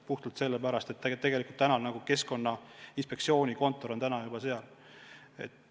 Puhtalt sellepärast, et Keskkonnainspektsiooni kontor on praegu seal.